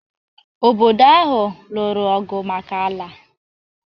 Obodo abụọ a lụrụ ọgụ maka ala.